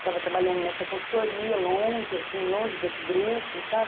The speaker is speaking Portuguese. Estava trabalhando nessa consultoria, longe, assim, longe desse grupo, sabe?